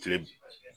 Kile